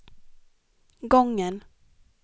gången